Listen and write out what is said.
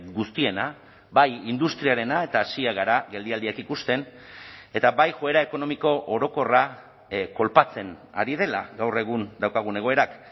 guztiena bai industriarena eta hasiak gara geldialdiak ikusten eta bai joera ekonomiko orokorra kolpatzen ari dela gaur egun daukagun egoerak